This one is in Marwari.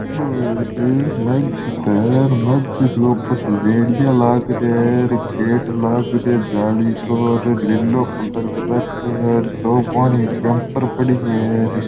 ओ एक मस्जिद है मस्जिद के ऊपर रेडियो लाग रहा है गेट लाग रो है जाली को लीलो कलर कर राखो है दो पाणी की कैंपर पड़ी है।